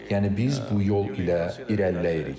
Yəni biz bu yol ilə irəliləyirik.